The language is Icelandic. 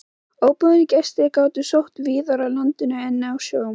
Óboðnir gestir gátu sótt víðar að landinu en á sjó.